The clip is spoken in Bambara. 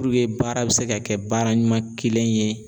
Puruke baara be se ka kɛ baara ɲuman kelen ye